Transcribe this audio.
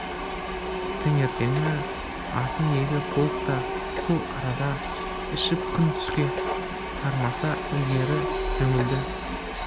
таңертеңгі асын екі полк та сол арада ішіп күн түске тармаса ілгері жөнелді